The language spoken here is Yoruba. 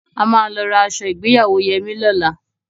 A máa lọ ra aṣọ ìgbéyàwó Yẹmí lọ́la.